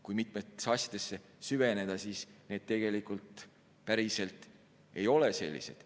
Kui mitmetesse asjadesse süveneda, siis need tegelikult päriselt ei ole sellised.